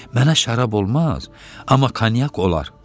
Mənə şərab olmaz, amma konyak olar.